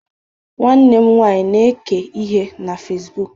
nwanne m nwanyi na-eke ihe na Facibụkụ